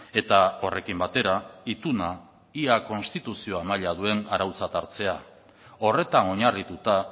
eta horrekin batera ituna ia konstituzioa maila duen arautzat hartzea horretan oinarrituta